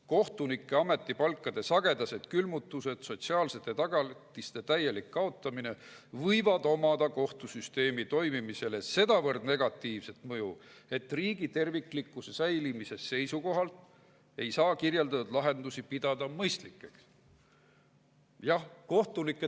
Kohtunike ametipalkade sagedased külmutamised, samuti sotsiaalsete tagatiste täielik kaotamine võivad omada kohtusüsteemi toimimisele sedavõrd negatiivset mõju, et riigi terviklikkuse säilimise seisukohalt ei saa kirjeldatud lahendusi pidada mõistlikeks.